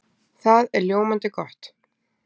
Það er ljómandi gott!